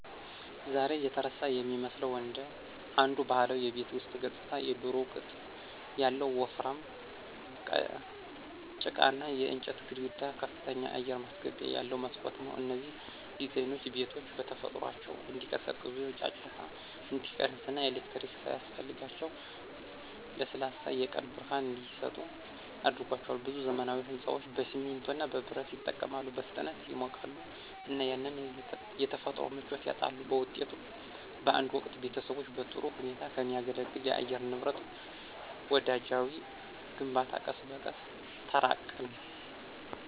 ዛሬ የተረሳ የሚመስለው አንዱ ባህላዊ የቤት ውስጥ ገጽታ የድሮው ቅጥ ያለው ወፍራም ጭቃና የእንጨት ግድግዳ ከፍተኛ አየር ማስገቢያ ያለው መስኮት ነው። እነዚህ ዲዛይኖች ቤቶቹ በተፈጥሯቸው እንዲቀዘቅዙ፣ ጫጫታ እንዲቀንስ እና ኤሌክትሪክ ሳያስፈልጋቸው ለስላሳ የቀን ብርሃን እንዲሰጡ አድርጓቸዋል። ብዙ ዘመናዊ ሕንፃዎች በሲሚንቶ እና በብረት ይጠቀማሉ, በፍጥነት ይሞቃሉ እና ያንን የተፈጥሮ ምቾት ያጣሉ. በውጤቱም፣ በአንድ ወቅት ቤተሰቦችን በጥሩ ሁኔታ ከሚያገለግል ለአየር ንብረት ወዳጃዊ ግንባታ ቀስ በቀስ ተራቅን።